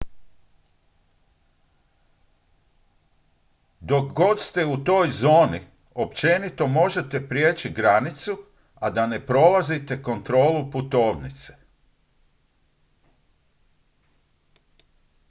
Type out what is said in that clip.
dok god ste u toj zoni općenito možete prijeći granicu a da ne prolazite kontrolu putovnice